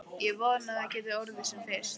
Ég vona að það geti orðið sem fyrst.